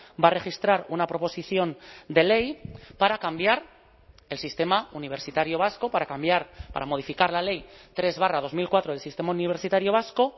va a registrar una proposición de ley para cambiar el sistema universitario vasco para cambiar para modificar la ley tres barra dos mil cuatro del sistema universitario vasco